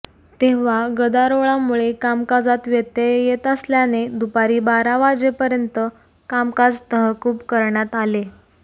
तेंव्हा गदारोळामुळे कामकाजात व्यत्यय येत असल्याने दुपारी बारा वाजेपर्यंत कामकाज तहकूब करण्यात आले